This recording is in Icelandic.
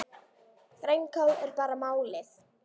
Grænkál er bara málið!